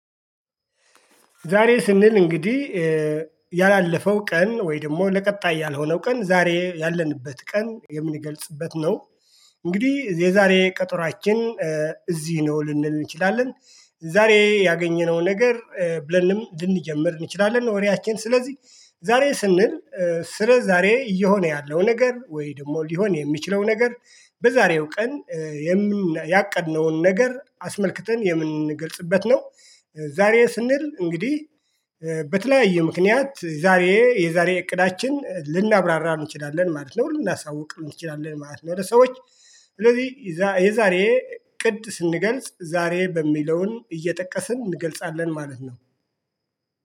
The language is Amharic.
ዛሬ ስንል እንግዲህ ያላለፈው ቀን ወይ ደግሞ ለቀጣይ ያልሆነው ቀን ዛሬ ያለንበት ቀን የምንገልጽበት ነው። እንግዲህ የዛሬ ቀጠሮአችን እዚህ ነው ልንል እንችላለን። ዛሬ ያገኘነው ነገር ብለንም ልንጀምር እንችላለን ወሬያችን ስለዚህ። ዛሬ ስንል። ስለ ዛሬ እየሆነ ያለው ነገር ወይ ደግሞ ሊሆን የሚችለው ነገር በዛሬው ቀን። ያቀድነውን ነገር አስመልክተን የምንገልጽበት ነው። ዛሬ ስንል እንግዲህ። በተለያየ ምክንያት ዛሬ የዛሬ እቅዳችን ልናብራራ እንችላለን ማለት ነው ልናሳውቅ እንችላለን ማለት ነው። ለሰዎች። ስለዚህ የዛሬ እቅድ ስንገልጽ ዛሬ በሚለውን እየጠቀስን እንገልጻለን ማለት ነው